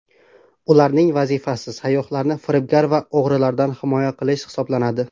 Ularning vazifasi sayyohlarni firibgar va o‘g‘rilardan himoya qilish hisoblanadi.